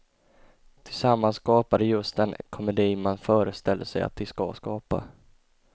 Tillsammans skapar de just den komedi man föreställer sig att de ska skapa.